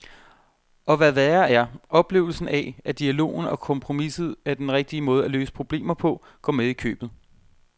Og hvad værre er, oplevelsen af, at dialogen og kompromiset er den rigtige måde at løse problemer på, går med i købet.